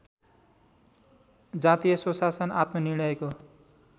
जातीय स्वशासन आत्मनिर्णयको